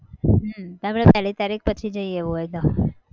હમ હવે પહેલી તારીખ પછી જઈએ એવું હોય તો.